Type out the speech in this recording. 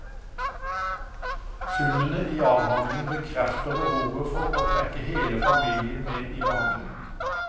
Funnene i avhandlingen bekrefter behovet for å trekke hele familien med i behandlingen.